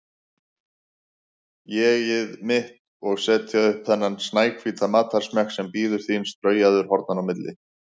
ÉG-ið mitt, og setja upp þennan snæhvíta matarsmekk sem bíður þín straujaður hornanna á milli.